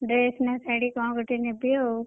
Dress ନା ଶାଢୀ କଣ ଗୋଟେ ନେବି ଆଉ।